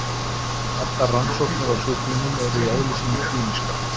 Allar rannsóknir á sjúklingum eru í eðli sínu klínískar.